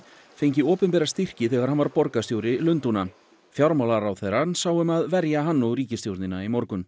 fengi opinbera styrki þegar hann var borgarstjóri Lundúna fjármálaráðherrann sá um að verja hann og ríkisstjórnina í morgun